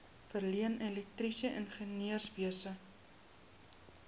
verleen elektriese ingenieurswese